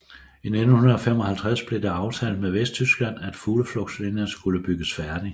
I 1955 blev det aftalt med Vesttyskland at Fugleflugtslinjen skulle bygges færdig